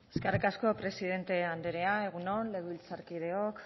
eskerrik asko presidente anderea egun on legebiltzarkideok